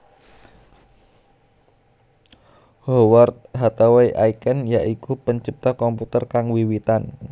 Howard Hathaway Aiken ya iku pencipta komputer kang wiwitan